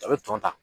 A bɛ tɔn ta